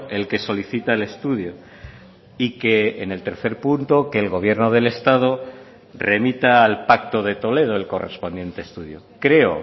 el que solicita el estudio y que en el tercer punto que el gobierno del estado remita al pacto de toledo el correspondiente estudio creo